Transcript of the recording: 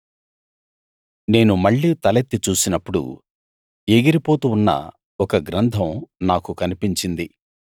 నేను మళ్ళీ తలెత్తి చూసినప్పుడు ఎగిరిపోతూ ఉన్న ఒక గ్రంథం నాకు కనిపించింది